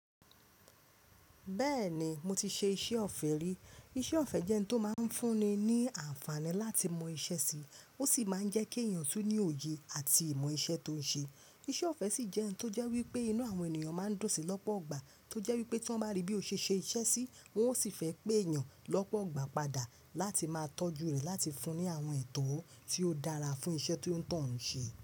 Bẹ́ẹ̀ni mo ti ṣe iṣẹ́ ọ̀fẹ́ rí. Iṣẹ́ ọ̀fẹ́ jẹ́ ohun tó máa ń fún ni ní àǹfààní láti mọ iṣẹ́ sí, ó sì máa ń jẹ́ kí èèyàn tún ní òye àti ìmọ̀ iṣẹ́ tó ń ṣe. Iṣẹ́ ọ̀fẹ́ sì jẹ́ ohun tó jẹ́ wípé inú àwọn ènìyàn máa ń dún sì lọ́pọ̀gbà, tó jẹ́ wípé tí wọ́n bá rí bí o ṣe ṣe iṣẹ́ sí, wọn ó sì fẹ́ pé èèyàn lọ́pọgbà padà láti máa tọ́jú rẹ láti fún ní àwọn ètò tí ó dára fún iṣẹ́ tió ń tọ̀ún ṣe.